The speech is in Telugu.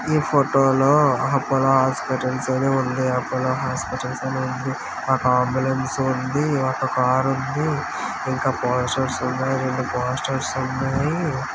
ఈ ఫోటో లో అపోలో హాస్పిటల్స్ అని ఉంది అపోలో హాస్పిటల్స్ అని ఉంది ఒక అంబులెన్స్ ఉంది ఒక కారు ఉంది ఇంకా పోస్టర్ స్ ఉన్నాయి రెండు పోస్టర్ స్ ఉన్నాయి.